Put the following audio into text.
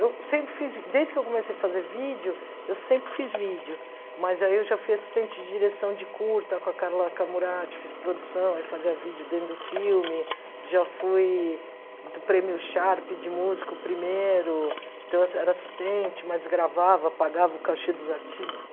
Eu sempre fiz, desde que eu comecei a fazer vídeo, eu sempre fiz vídeo, mas aí eu já fui assistente de direção de curta com a Carla Camuratti, fiz produção, aí fazia vídeo dentro do filme, já fui do prêmio Sharp de músico primeiro, então eu era assistente, mas gravava, pagava o cachê dos artigos.